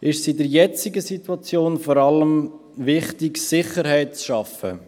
Deshalb ist es in der jetzigen Situation vor allem wichtig, Sicherheit zu schaffen.